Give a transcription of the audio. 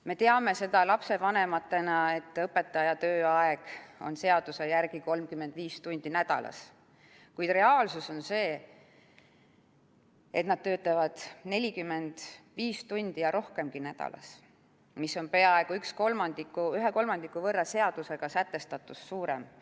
Me teame lapsevanematena, et õpetaja tööaeg on seaduse järgi 35 tundi nädalas, kuid reaalsus on see, et nad töötavad 45 tundi ja rohkemgi nädalas, mis on peaaegu ühe kolmandiku võrra seadusega sätestatust suurem.